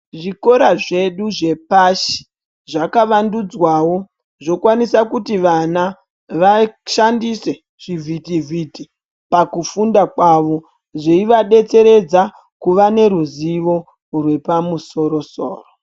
Zvikora zvedu zvepashi zvakavandudzwawo zvokwanisa kuti vana vashandise zvivhiti vhiti pakufunda kwavo zveivadetseredza kuva neruzivo rwepamusoro soro.